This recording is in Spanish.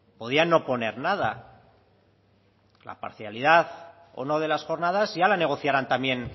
podían no poner nada la parcialidad o no de las jornadas ya la negociarán también